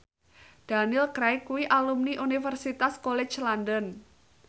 Daniel Craig kuwi alumni Universitas College London